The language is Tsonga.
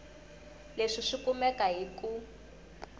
leswi swi kumeka hi ku